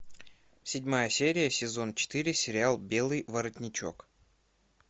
седьмая серия сезон четыре сериал белый воротничок